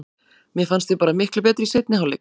Mér fannst við bara miklu betri í seinni hálfleik.